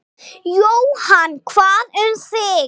Jóhann: Hvað um þig?